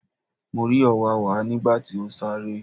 Mo rí òwáwá nígbà tí ó sáré.